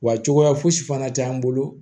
Wa cogoya fosi fana t'an bolo